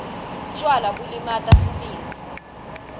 tjwala bulimata sibindzi